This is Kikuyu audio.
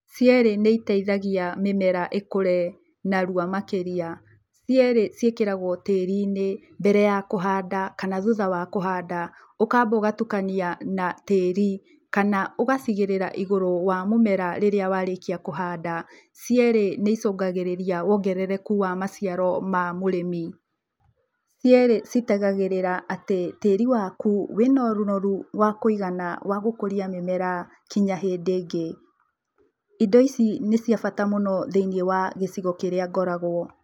Cierĩ nĩ iteithagia mĩmera ĩkũre narua makĩria. Cierĩ ciĩkĩragwo tĩri-inĩ mbere ya kũhanda kana thutha wa kũhanda. Ũkamba ũgatukania na tĩri kana ũgaciigĩrĩra igũrũ wa mũmera rĩrĩa warĩkia kũhanda. Cierĩ nĩ icongagĩrĩria wongerereku wa macĩaro ma mũrĩmi. Cierĩ ci tigagĩrĩra atĩ tĩri waku wĩna ũnoru wa kuigana wa gũkũria mũmera nginya hĩndĩ ĩngĩ. Ĩndo ici nĩ cia bata mũno thĩini ya gĩcigo kĩrĩa ngoragwo.